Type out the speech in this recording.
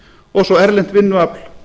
og svo erlent vinnuafl